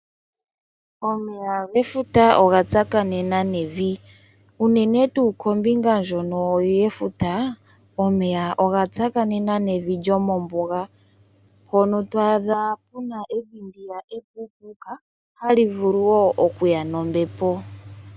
Omeya gefuta oga tsakanena nevi, unene tuu kombinga ndjono yefuta , omeya oga tsakanena nevi lyo mombuga. Hono to adha kuna evi ndiya epuupuuka hali vulu wo okuya nombepo.